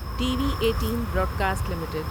T V eighteen Broadcast limited